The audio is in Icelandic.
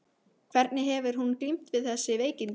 Hvernig hefur hún glímt við þessi veikindi?